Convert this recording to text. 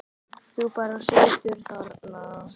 Þú bara situr þarna.